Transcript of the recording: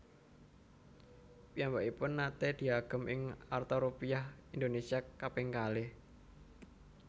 Piyambakipun naté diagem ing arta Rupiah Indonesia kaping kalih